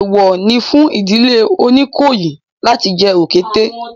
Èèwọ̀ ni fún ìdílé Oníkòyí láti jẹ òkété